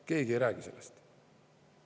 Keegi ei räägi sellest!